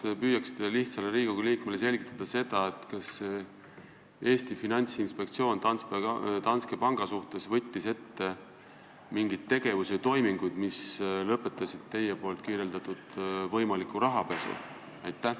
Kas te püüaksite lihtsale Riigikogu liikmele selgitada, kas Eesti Finantsinspektsioon võttis Danske panga suhtes ette mingeid tegevusi või toiminguid, mis lõpetasid teie kirjeldatud võimaliku rahapesu?